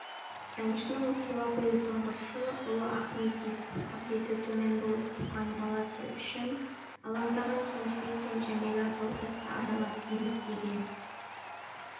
әншінің тұла бойы тұңғышы ұлы ахмет есту қабілеті төмен болып туған баласы үшін алаңдаған кенжебек пен жәмилә тау-тасты аралап ем іздеген